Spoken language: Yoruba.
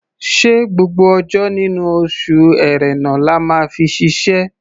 Ṣé gbogbo ọjọ́ nínú oṣù Ẹ̀rẹnà la máa fi ṣiṣẹ́?